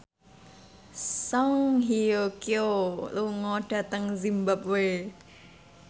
Song Hye Kyo lunga dhateng zimbabwe